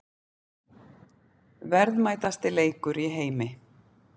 Verðmætasti leikur í heimi